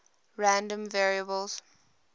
random variables